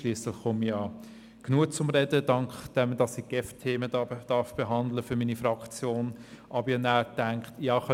Schliesslich komme ich ja genügend zum Sprechen, dank dem, dass ich GEF-Themen für meine Fraktion behandeln darf.